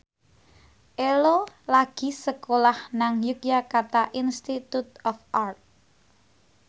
Ello lagi sekolah nang Yogyakarta Institute of Art